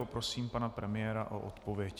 Poprosím pana premiéra o odpověď.